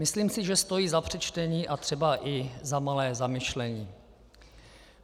Myslím si, že stojí za přečtení a třeba i za malé zamyšlení.